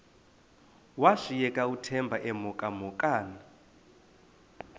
washiyeka uthemba emhokamhokana